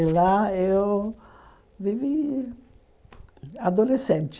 E lá eu vivi adolescente.